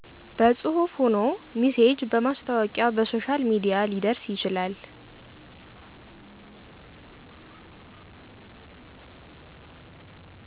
በፅሁፍ ሆኖ ሚሴጅ በማስታወቂያ በሶሻል ሚዲያ ሊደርስ ይችላል።